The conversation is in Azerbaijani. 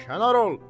Kənar ol!